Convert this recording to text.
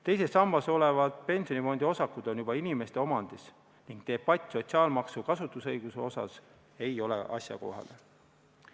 Teises sambas olevad pensionifondiosakud on juba inimeste omandis ning debatt sotsiaalmaksu kasutamise õiguse üle ei ole asjakohane.